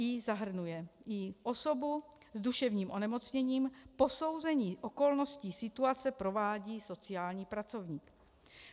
i) zahrnuje i osobu s duševním onemocněním, posouzení okolností situace provádí sociální pracovník.